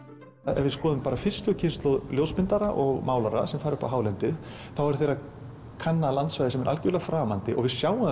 ef við skoðum fyrstu kynslóð ljósmyndara og málara sem fara upp á hálendi eru þeir að kanna landslag sem er svo algjörlega framandi og við sjáum það